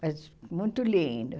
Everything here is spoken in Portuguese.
Mas muito linda.